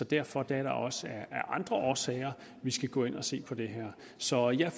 derfor er det også af andre årsager vi skal gå ind og se på det her så jeg